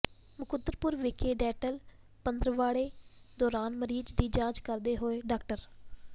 ਮੁਕੰਦਪੁਰ ਵਿਖੇ ਡੈਂਟਲ ਪੰਦਰਵਾੜੇ ਦੌਰਾਨ ਮਰੀਜ਼ ਦੀ ਜਾਂਚ ਕਰਦੇ ਹੋਏ ਡਾਕਟਰ